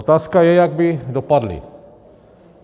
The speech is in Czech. Otázka je, jak by dopadli.